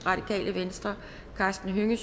karsten hønge